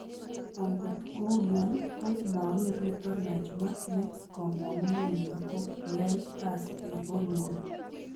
Angot kouno ko mager nito Najma ne kamang'unenyi ko kiyai kasi eng Holiwood